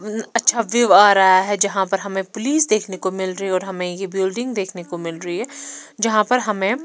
म अच्छा व्यू रहा है यहाँ पर हमें पुलिस देखने को मिल रही है और हमें ये बिल्डिंग देखने को मिल रही है यहाँ पर हमें --